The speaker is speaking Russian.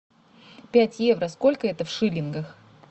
пять евро сколько это в шиллингах